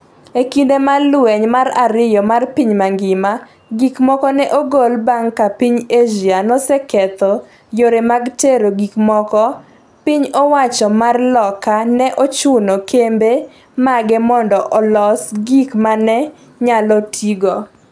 E kinde mar lweny mar ariyo mar piny mangima, gik moko ne ogol bang’ ka piny Asia noseketho yore mag tero gikmoko piny owacho mar loka ne ochuno kembe mage mondo oloso gik ma ne nyalo tigo